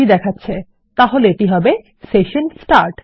ত্রুটি দেখাচ্ছে তাহলে এটি হবে সেশন স্টার্ট